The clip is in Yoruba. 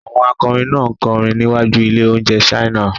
Àwọn akọrin náà ń kọrin níwájú ilé-oúnjẹ China.